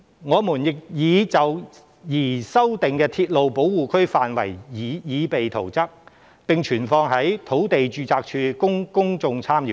我們亦已就擬修訂的鐵路保護區範圍擬備圖則，並存放在土地註冊處供公眾參閱。